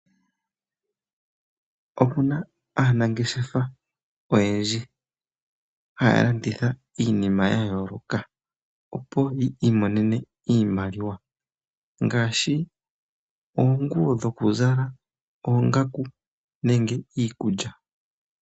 Opuna aanangeshefa oyendji haya landitha iinima yayooloka ,opo yiimonene iimaliwa ngaashi oonguyo dhokuzala, oongaku niikulya.